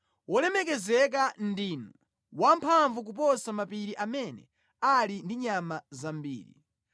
Wolemekezeka ndinu, wamphamvu kuposa mapiri amene ali ndi nyama zambiri.